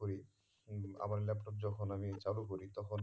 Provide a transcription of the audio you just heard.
করি আমার laptop যখন আমি চালু করি তখন